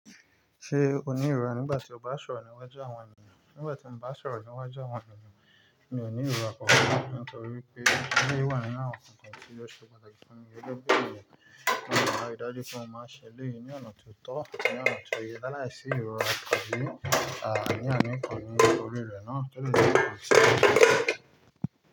Ṣé o ní ìrọ́ nígbà tí o bá sọ̀rọ̀ níwájú àwọn ènìyàn? Nígbà tí mo bá sọ̀rọ̀ níwájú àwọn ènìyàn, mi ò ní ìrọ́. Nítorí pé eléyìí wà nínú àwọn nǹkan kan tí yóò ṣe pàtàkì fún mi. Elẹ́gbẹ́ ènìyàn ni àwọn arídájú tí wọ́n máa ṣe léyìí ní ọ̀nà tó tọ́, ní ọ̀nà tó yẹ láàísí ìrọ́ra tabi, àní àní kan nínú orí rẹ̀ ná. Kí ló dé tí kò ṣe bẹ́ẹ̀?